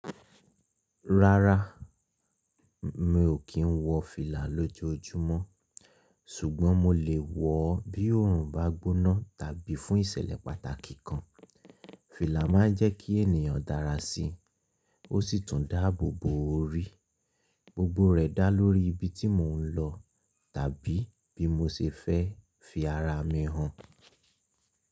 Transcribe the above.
Rárá, mi ò kí ń wọ fìlà lójoojúmọ́, ṣùgbọ́n mo lè wọ ọ bí òòrùn bá gbóná tàbí fún ìṣẹ̀lẹ̀ pàtàkì kan. Fìlà máa ń jẹ́ kí ènìyàn dára sí i, ó sì tún dáàbò bo orí. Gbogbo rẹ̀ dá lórí ibi tí mò ń lọ tàbí bí mo ṣe fẹ́ fi ara mi hàn.